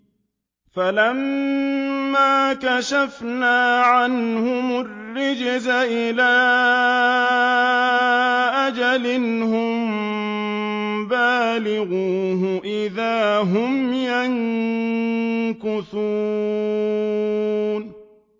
فَلَمَّا كَشَفْنَا عَنْهُمُ الرِّجْزَ إِلَىٰ أَجَلٍ هُم بَالِغُوهُ إِذَا هُمْ يَنكُثُونَ